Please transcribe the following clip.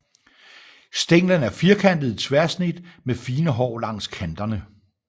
Stænglen er firkantet i tværsnit med fine hår langs kanterne